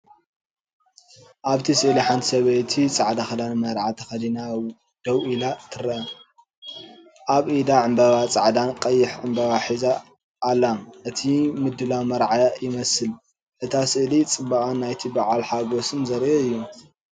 ኣብቲ ስእሊ ሓንቲ ሰበይቲ ጻዕዳ ክዳን መርዓ ተኸዲና ደው ኢላ ትርአ። ኣብ ኢዳ ዕንበባ ጻዕዳን ቀይሕን ዕንበባ ሒዛ ኣላ። እቲ ምድላው መርዓ ይመስል። እታ ስእሊ ጽባቐኣን ናይቲ በዓል ሓጎስን ዘርኢ እዩ።